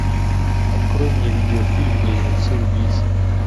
открой мне видеофильм близнецы убийцы